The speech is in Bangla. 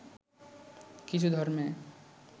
কিছু ধর্মে